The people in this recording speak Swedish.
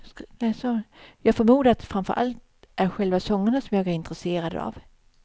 Jag förmodar att det framför allt är själva sångerna som jag är intresserad av.